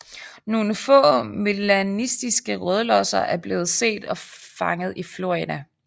Nogle få melanistiske rødlosser er blevet set og fanget i Florida